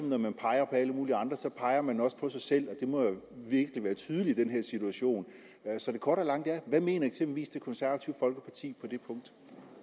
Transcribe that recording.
når man peger på alle mulige andre peger man også på sig selv og det må virkelig være tydeligt i den her situation så det korte af det lange er hvad mener eksempelvis det konservative folkeparti på det punkt